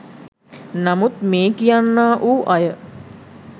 නමුත් මේ කියන්නා වූ අය